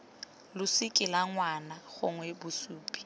losika la ngwana gongwe bosupi